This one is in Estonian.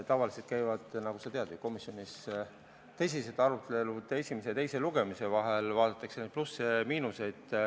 Tavaliselt käivad, nagu sa tead ju, komisjonis tõsised arutelud esimese ja teise lugemise vahel, vaadatakse plusse ja miinuseid.